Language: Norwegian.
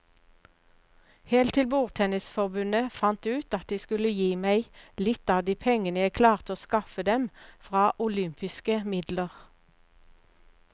Helt til bordtennisforbundet fant ut at de skulle gi meg litt av de pengene jeg klarte å skaffe dem fra olympiske midler.